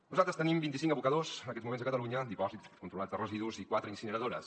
nosaltres tenim vint icinc abocadors en aquests moments a catalunya dipòsits controlats de residus i quatre incineradores